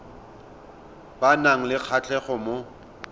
ba nang le kgatlhego mo